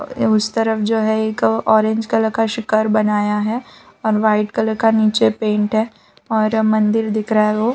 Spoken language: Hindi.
ये उस तरफ जो है एक ऑरेंज कलर का शिखर बनाया है और वाइट कलर का नीचे पेंट है और मंदिर दिख रहा है वो।